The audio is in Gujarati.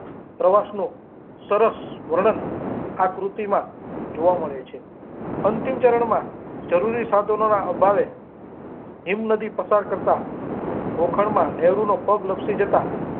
પ્રવાસ નું સરસ વર્ણન આ પૂરતી માં જોવા મળે છે અંતિમ ચારણ માં જરૂરી સાધનો ના અભાવે હિમ નદી પસાર કરતા જોખમ માં નહેરુ નો પગ લાપસી જતા.